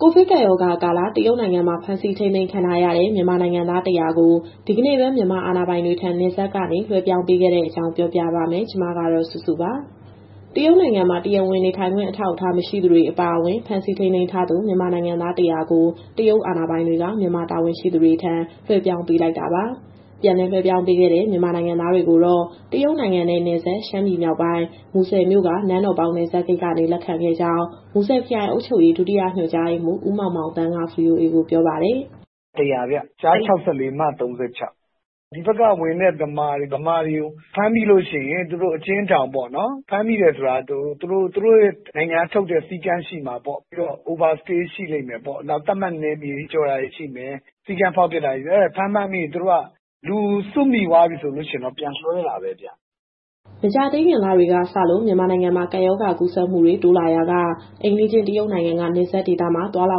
ကိုဗစ်ကပ်ရောဂါကာလ တရုတ်နိုင်ငံမှာ ဖမ်းဆီးထိန်းသိမ်းခံထားရတဲ့ မြန်မာနိုင်ငံသား ၁၀၀ ကို ဒီကနေ့ပဲ မြန်မာအာဏာပိုင်တွေထံ နယ်စပ်ကနေ လွှဲပြောင်းပေးခဲ့တဲ့အကြောင်း ဗွီအိုအေမြန်မာပိုင်း သတင်းထောက် မစုစုက တင်ဆက်ပေးမှာပါ။ တရုတ်နိုင်ငံမှာ တရားဝင်နေထိုင်ခွင့် အထောက်အထား မရှိသူတွေအပါအဝင် ဖမ်းဆီးထိန်းသိမ်းထားသူ မြန်မာနိုင်ငံသား ၁၀၀ ကို တရုတ်အာဏာပိုင်တွေက မြန်မာတာဝန်ရှိသူတွေထံ လွှဲပြောင်းပေးလိုက်တာပါ။ ပြန်လည်လွှဲပြောင်းပေးခဲ့တဲ့ မြန်မာနိုင်ငံသားတွေကိုတော့ တရုတ်နိုင်ငံနဲ့နယ်စပ် ရှမ်းပြည်မြောက်ပိုင်း၊ မူဆယ်မြို့က နန်းတော်ပေါက် နယ်စပ်ဂိတ်ကနေ လက်ခံခဲ့ကြောင်း မူဆယ်ခရိုင်အုပ်ချုပ်ရေး ဒုတိယညွှန်ကြားရေးမှူး ဦးမောင်မောင်သန်းက VOA ကိုပြောပါတယ်။ "(ဒီနေ့လွှဲတာ) ၁၀၀ ဗျ၊ ကျား ၆၄၊ မ ၃၆ ယောက်။ ဒီဘက်က ဝင်တဲ့ မြန်မာတွေကို ဖမ်းမိလို့ရှိရင် သူတို့အကျဉ်းထောင်ပေါ့နော်။ ဖမ်းမိတယ်ဆိုတာက သူတို့နိုင်ငံကထုတ်တဲ့ စည်းကမ်းရှိမှာပေါ့၊ ပြီးတော့ Overstay ရှိလိမ့်မယ်ပေါ့။ နောက် သတ်မှတ်နယ်မြေကျော်တာတွေရှိမယ်၊ စည်းကမ်းဖောက်ဖျက်တာတွေ။ အဲဒီလိုတွေဖမ်းမိရင် သူတို့က လူစုမိသွားပြီဆိုရင်တော့ ပြန်လွှဲတာပဲဗျ။" မကြာသေးခင်လတွေကစလို့ မြန်မာနိုင်ငံမှာ ကပ်ရောဂါကူးစက်မှုတွေ တိုးလာရာက အိမ်နီးချင်းတရုတ်နိုင်ငံက နယ်စပ်ဒေသမှာ သွားလာ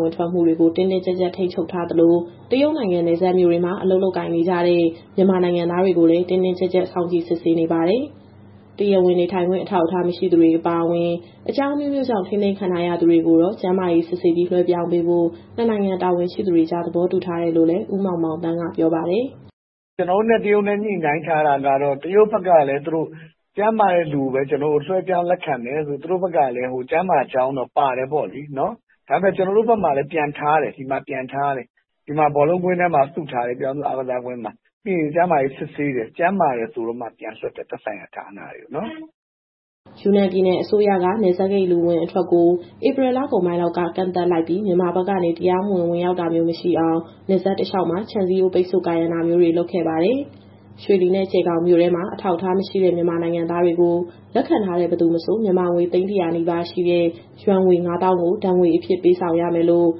ဝင်ထွက်မှုတွေကို တင်းတင်းကြပ်ကြပ် ထိန်းချုပ်ထားသလို၊ တရုတ်နိုင်ငံ နယ်စပ်မြို့တွေမှာ အလုပ်လုပ်ကိုင်နေကြတဲ့ မြန်မာနိုင်ငံသားတွေကိုလည်း တင်းတင်းကြပ်ကြပ် စောင့်ကြည့် စစ်ဆေးနေပါတယ်။ တရားဝင် နေထိုင်ခွင့် အထောက်အထား မရှိသူတွေ အပါအဝင် အကြောင်းအမျိုးမျိုးကြောင့် ထိန်းသိမ်းခံထားရသူတွေကိုတော့ ကျန်းမာရေးစစ်ဆေးပြီး လွှဲပြောင်းပေးဖို့ ၂ နိုင်ငံ တာဝန်ရှိသူတွေကြား သဘောတူထားတယ်လို့လည်း ဦးမောင်မောင်သန်းက ပြောပါတယ်။ "ကျနော်တို့နဲ့ တရုတ်နဲ့ ညှိနှိုင်းထားတာကတော့ တရုတ်ဘက်ကလည်း ကျန်းမာတဲ့သူကိုပဲ လွှဲပြောင်းပေးမယ်ဆိုပြီးတော့ သူတို့ဘက်ကလည်း ကျန်းမာကြောင်းတော့ ပါတယ်ပေါ့လေ။ ဒါပေမဲ့လည်း ကျနော်တို့ဘက်မှာလည်း (Quarantine စင်တာတွေမှာ) ပြန်ထားတယ်။ ဘောလုံးကွင်းထဲမှာ ပြည်ထောင်စုအားကစားကွင်းထဲမှာ စုထားတယ်။ ပြီးရင် ကျန်းမာရေးစစ်ဆေးတယ်။ ကျန်းမာတယ်ဆိုမှ သက်ဆိုင်ရာဌာနတွေဆီ ပြန်လွှတ်တယ်။" ယူနန်ပြည်နယ်အစိုးရက နယ်စပ်ဂိတ်လူအဝင်အထွက်ကို ဧပြီလကုန်ပိုင်းက ကန့်သတ်လိုက်ပြီး မြန်မာဘက်ကနေ တရားမဝင် ဝင်ရောက်တာမျိုးမရှိအောင် နယ်စပ်တလျှောက်မှာ ခြံစည်းရိုး ပိတ်ဆို့ကာရံတာတွေလည်း လုပ်ခဲ့ပါတယ်။ ရွှေလီနဲ့ ကြယ်ဂေါင်မြို့ထဲမှာ အထောက်အထားမရှိတဲ့ မြန်မာနိုင်ငံသားတွေကို လက်ခံထားတဲ့ဘယ်သူမဆို မြန်မာငွေ သိန်း ၁၀၀ နီးပါးရှိတဲ့ ယွမ်ငွေ ၅၀,၀၀၀ ကို ဒဏ်ငွေအဖြစ် ပေးဆောင်ရမယ်လို့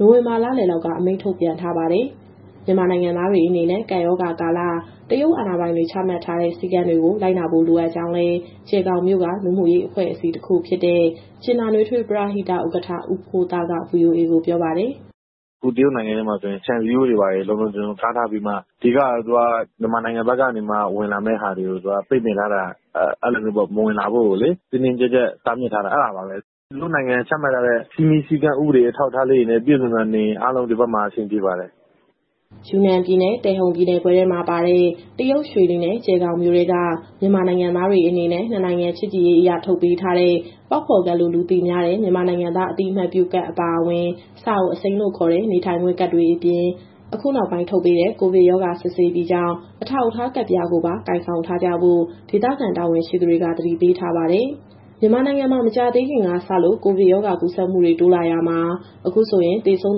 နိုဝင်ဘာလလယ်လောက်က အမိန့်ထုတ်ပြန်ထားပါတယ်။ မြန်မာနိုင်ငံသားတွေအနေနဲ့ ကပ်ရောဂါကာလ တရုတ်အာဏာပိုင်တွေ ချမှတ်ထားတဲ့ စည်းကမ်းတွေကို လိုက်နာဖို့ လိုအပ်ကြောင်းလည်း ကြယ်ဂေါင်မြို့က လူမှုရေးအဖွဲ့တခုဖြစ်တဲ့ ကြင်နာနွေးထွေးပရဟိတ ဥက္ကဋ္ဌ ဦးဖိုးသားက VOA ကိုပြောပါတယ်။ "အခု တရုတ်နိုင်ငံထဲမှာဆိုရင် ခြံစည်းရိုးတွေဘာတွေ လုံလုံခြုံခြုံကာထားပြီး၊ အဓိကတော့ သူက မြန်မာနိုင်ငံဘက်ကနေ ဝင်လာမယ့်ဟာတွေကို သူကပိတ်ပင်ထားတာ၊ အဲဒီလိုမျိုးမဝင်လာဖို့ကိုလေ တင်းတင်းကြပ်ကြပ်တားမြစ်ထားတာ အဲဒါပါပဲ။ သူတို့နိုင်ငံက ချမှတ်ထားတဲ့ စည်းမျဉ်းစည်းကမ်း ဥပဒေအထောက်အထားလေးတွေနဲ့ ပြည့်စုံစွာနေရင် အားလုံးဒီဘက်မှာ အဆင်ပြေပါတယ်။" ယူနန်ပြည်နယ်၊ တယ်ဟုန်ပြည်နယ်ခွဲထဲမှာပါတဲ့ တရုတ်ရွှေလီနဲ့ ကြယ်ဂေါင်မြို့ထဲက မြန်မာနိုင်ငံသားတွေအနေနဲ့ နှစ်နိုင်ငံချစ်ကြည်ရေးအရ ထုတ်ပေးထားတဲ့ ပေါက်ဖော်ကဒ်လို့ လူသိများတဲ့ မြန်မာနိုင်ငံသား အသိအမှတ်ပြုကဒ်အပါအဝင်၊ စာအုပ်အစိမ်းလို့ခေါ်တဲ့ နေထိုင်ခွင့်ကဒ်တွေအပြင်၊ အခုနောက်ပိုင်းထုတ်ပေးတဲ့ ကိုဗစ်ရောဂါစစ်ဆေးပြီးကြောင်း အထောက်အထားကဒ်ပြားကိုပါ ကိုင်ဆောင်ထားကြဖို့ ဒေသခံတာဝန်ရှိသူတွေက သတိပေးထားပါတယ်။ မြန်မာနိုင်ငံမှာ မကြာသေးခင်ကစလို့ ကိုဗစ်ရောဂါ ကူးစက်မှုတွေ တိုးလာရာမှာ အခုဆိုရင် သေဆုံး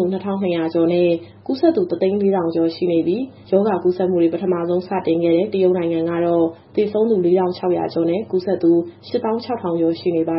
သူ ၂,၂၀၀ ကျော်နဲ့ ကူးစက်သူ ၁၀၄,၀၀၀ ကျော် ရှိခဲ့ပြီး၊ ရောဂါကူးစက်မှုတွေ ပထမဆုံး စတင်ခဲ့တဲ့ တရုတ်နိုင်ငံကတော့ သေဆုံးသူ ၄,၆၀၀ ကျော်နဲ့ ကူးစက်သူ ၈၆,၀၀၀ ကျော် ရှိနေပါ